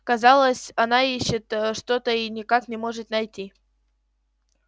казалось она ищет что то и никак не может найти